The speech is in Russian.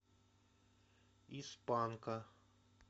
из панка